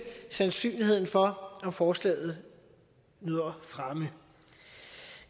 sandsynligheden for om forslaget nyder fremme